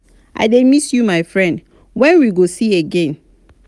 i dey miss you my friend when we go see again?